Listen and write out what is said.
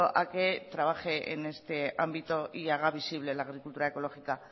a que trabaje en este ámbito y haga visible la agricultura ecológica